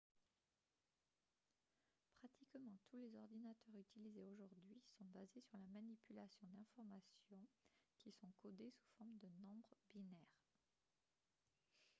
pratiquement tous les ordinateurs utilisés aujourd'hui sont basés sur la manipulation d'informations qui sont codées sous forme de nombres binaires